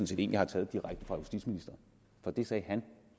set en jeg har taget direkte fra justitsministeren for det sagde han